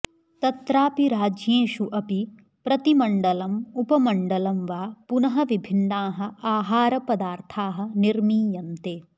तत्रापि राज्येषु अपि प्रतिमण्डलम् उपमण्डलं वा पुनः विभिन्नाः आहारपदार्थाः निर्मीयन्ते